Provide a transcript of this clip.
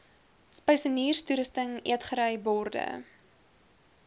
spysenierstoerusting eetgery borde